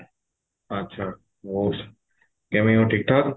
ਅੱਛਾ ਹੋਰ ਕਿਵੇਂ ਹੋ ਠੀਕ ਠਾਕ